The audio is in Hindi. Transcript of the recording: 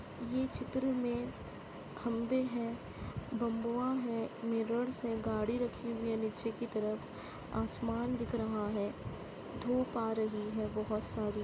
ये चित्र में खंबे हैं बंबुआ है मिरर्स हैं गाड़ी रखी हुई है नीचे की तरफ आसमान दिख रहा है धूप आ रही है बहौत सारी।